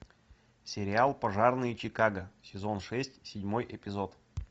сериал пожарные чикаго сезон шесть седьмой эпизод